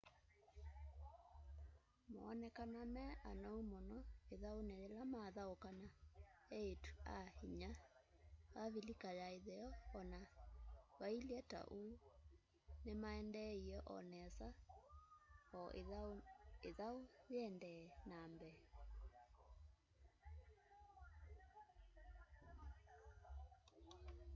moonekanaa me anou mũno ĩthaunĩ yĩla mathaũkaa na eĩtu-a-inya avilika ya ĩtheo o na vailye ta ũu nĩmaendeeie o nesa o ĩthau yĩendee na mbee